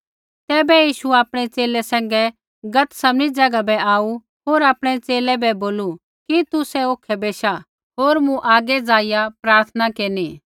तैबै यीशु आपणै च़ेले सैंघै गतसमनी ज़ैगा बै आऊ होर आपणै च़ेले बै बोलू कि तुसै औखै बैशा होर मूँ आगै ज़ाइआ प्रार्थना केरनी